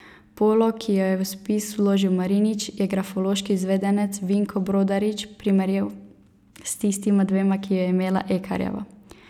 Polo, ki jo je v spis vložil Marinič, je grafološki izvedenec Vinko Brodarič primerjal s tistima dvema, ki ju je imela Ekarjeva.